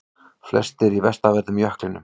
Flestir í vestanverðum jöklinum